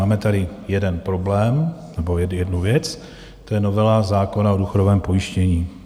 Máme tady jeden problém nebo jednu věc, to je novela zákona o důchodovém pojištění.